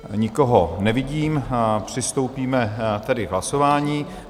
Nikoho nevidím, přistoupíme tedy k hlasování.